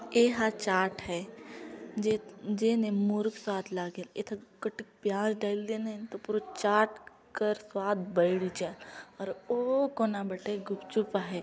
ये ह चाट हैं जे जेन मुरुक स्वाद लागे एक थक कटिन प्याज़ डाइल दे नन तो पूरा चाट अ कर स्वाद बइठ जै और ओ कोना बइठे गुपचुप आहै।